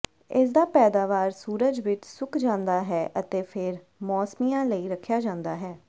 ਇਸਦਾ ਪੈਦਾਵਾਰ ਸੂਰਜ ਵਿੱਚ ਸੁੱਕ ਜਾਂਦਾ ਹੈ ਅਤੇ ਫਿਰ ਮੌਸਮੀਆ ਲਈ ਰੱਖਿਆ ਜਾਂਦਾ ਹੈ